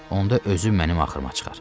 Onda özü mənim axırıma çıxar.